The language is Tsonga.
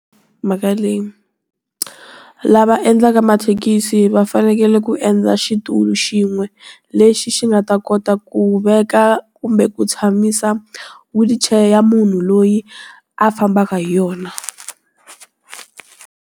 Mhaka leyi lava endlaka mathekisi va fanekele ku endla xitulu xin'we, lexi xi nga ta kota ku veka kumbe ku tshamisa wheelchair ya munhu loyi a fambaka hi yona.